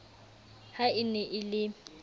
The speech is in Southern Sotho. ha e ne e le